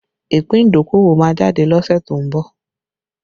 Ìpín idokowo máa jáde lọ́sẹ̀ tó ń bọ̀